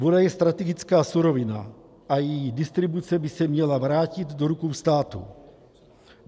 Voda je strategická surovina a její distribuce by se měla vrátit do rukou státu.